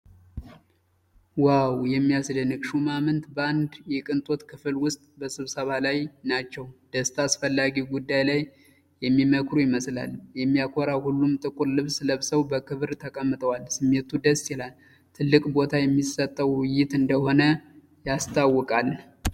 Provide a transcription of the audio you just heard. ዋው! የሚያስደንቅ! ሹማምንት በአንድ የቅንጦት ክፍል ውስጥ በስብሰባ ላይ ናቸው። ደስታ! አስፈላጊ ጉዳይ ላይ የሚመክሩ ይመስላል። የሚያኮራ! ሁሉም ጥቁር ልብስ ለብሰው በክብር ተቀምጠዋል። ስሜቱ ደስ ይላል! ትልቅ ቦታ የሚሰጠው ውይይት እንደሆነ ያስታውቃል።